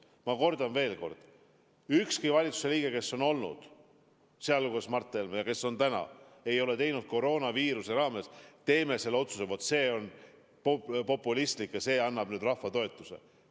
Ma kordan veel kord: ükski valitsuse liige, kes on ametis olnud, sealhulgas Mart Helme, ja ükski valitsuse praegune liige ei ole teinud koroonaviiruse ajal otsuseid lähtudes sellest, et vaat see on populistlik otsus ja annab rahva toetuse.